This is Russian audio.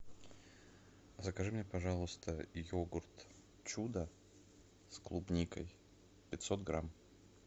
закажи мне пожалуйста йогурт чудо с клубникой пятьсот грамм